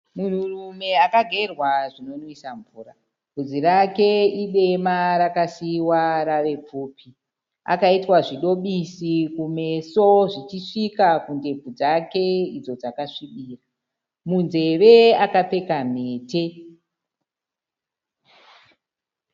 Munhu rume akagerwa zvinomwisa mvura. Vudzi rake idema rikasiyiwa rave pfupi. Akaitwa zvidobisi kumeso zvichisvika kundebvu dzake izvo dzake svibira. Munzeve akapfeka mhete.